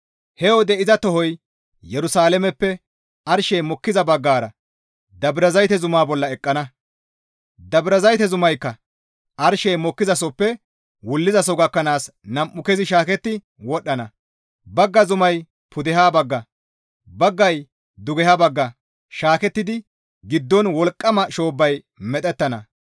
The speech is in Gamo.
He wode iza tohoy Yerusalaameppe arshey mokkiza baggara Dabrazayte zumaa bolla eqqana. Dabrazayte zumaykka arshey mokkizasoppe wullizaso gakkanaas nam7u kezi shaaketti wodhana; bagga zumay pudeha bagga, baggay dugeha bagga shaakettidi giddon wolqqama shoobbay medhettana.